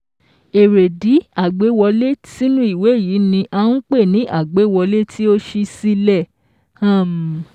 Èrèdí àgbéwọlé sínú ìwé yìí ni à n pè ní àgbéwọlé tí ó ṣí sílẹ̀ um